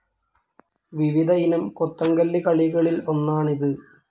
വിവിധ ഇനം കൊത്തങ്കല്ല് കളികളിൽഒന്നാണ് ഇത്.